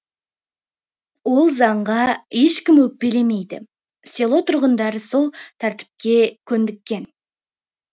ол заңға ешкім өкпелемейді село тұрғындарысол тәртіпке көндіккен